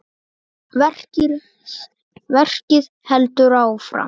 Verkið heldur áfram.